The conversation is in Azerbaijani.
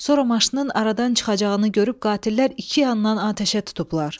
Sonra maşının aradan çıxacağını görüb qatillər iki yandan atəşə tutublar.